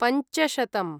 पञ्चशतम्